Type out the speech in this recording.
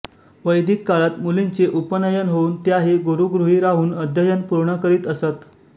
वैदिक काळात मुलींचे उपनयन होवून त्या ही गुरूगृही राहून अध्ययन पूर्ण करीत असत